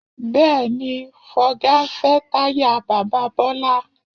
Bẹ́ẹ̀, Fọga ń fẹ́ táyà bàbá Bọ́lá